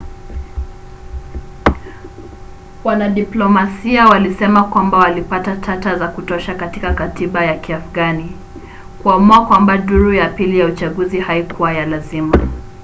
wanadiplomasia walisema kwamba walipata tata za kutosha katika katiba ya kiafgani kuamua kwamba duru ya pili ya uchaguzi haikuwa ya lazima